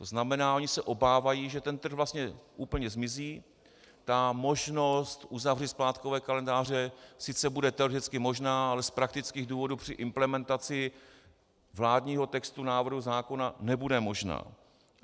To znamená, oni se obávají, že ten trh vlastně úplně zmizí, ta možnost uzavřít splátkové kalendáře sice bude teoreticky možná, ale z praktických důvodů při implementaci vládního textu návrhu zákona nebude možná.